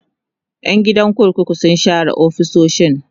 Yan gidan kurkukun sun share ofisoshin